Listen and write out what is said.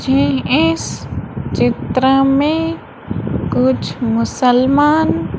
मुझे इस चित्र में कुछ मुसलमान--